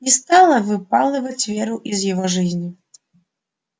не стала выпалывать веру из его жизни